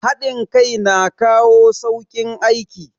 Hadin kai na kawo saukin aiki